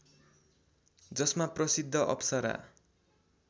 जसमा प्रसिद्ध अप्सरा